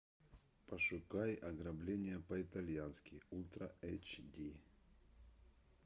пошукай ограбление по итальянски ультра эйч ди